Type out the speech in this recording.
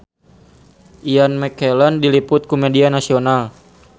Ian McKellen diliput ku media nasional